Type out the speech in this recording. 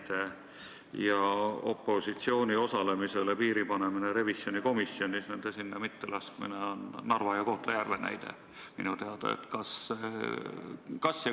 Selle kohta, et opositsiooni osalemisele revisjonikomisjonis on tahetud piiri panna, neid inimesi pole sinna lastud, on minu teada näide tuua Narvast ja Kohtla-Järvelt.